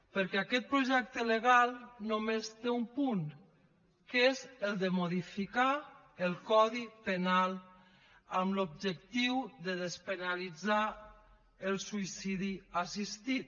perquè aquest projecte legal només té un punt que és el de modificar el codi penal amb l’objectiu de despenalitzar el suïcidi assistit